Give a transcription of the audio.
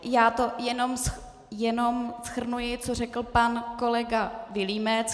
Já to jenom shrnuji, co řekl pan kolega Vilímec.